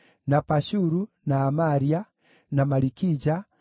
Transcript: na Pashuru, na Amaria, na Malikija,